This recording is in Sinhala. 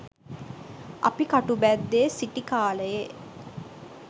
අපි කටුබැද්දේ සිටි කාලයේ